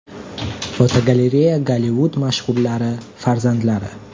Fotogalereya: Gollivud mashhurlarning farzandlari.